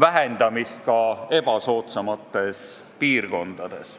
vähendamist kõige ebasoodsamates piirkondades.